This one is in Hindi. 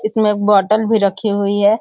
इसमें एक बोटल भी रखी हुई है।